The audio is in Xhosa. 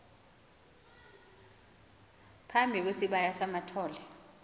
phambi kwesibaya samathole